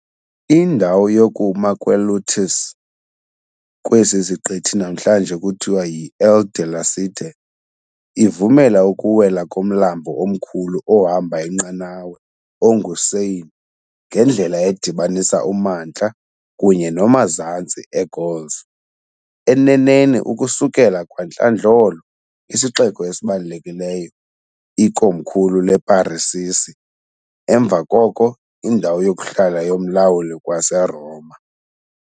Indawo yokuma kweLutèce, kwesi siqithi namhlanje kuthiwa yi-Ile de la Cité, ivumela ukuwela komlambo omkhulu ohamba inqanawa onguSeine ngendlela edibanisa uMantla kunye noMazantsi eGauls, eneneni ukusukela kwantlandlolo isixeko esibalulekileyo, ikomkhulu leParisisi, emva koko indawo yokuhlala yomlawuli waseRoma.